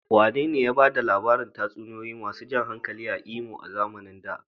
Wanene ya ba da labarin tatsuniyoyi masu jan hankali a Imo a zamanin da?